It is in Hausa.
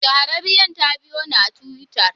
Shahararriyar ta biyo ni a twitter.